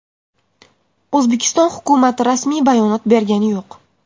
O‘zbekiston hukumati rasmiy bayonot bergani yo‘q.